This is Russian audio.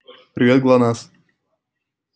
привет глонассс